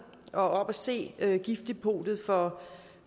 og set giftdepotet for